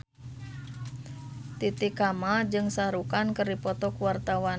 Titi Kamal jeung Shah Rukh Khan keur dipoto ku wartawan